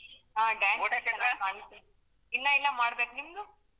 ಹ ಇಲ್ಲ ಇನ್ನ ಮಾಡ್ಬೇಕು, ನಿಮ್ದು?